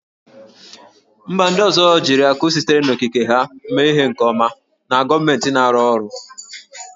Mba ndị ọzọ jiri akụ sitere n'okike ha mee ihe nke ọma na gọọmentị na-arụ ọrụ